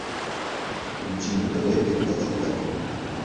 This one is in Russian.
включи на тв передачу один